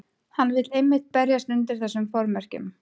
Hann vill einmitt berjast undir þessum formerkjum.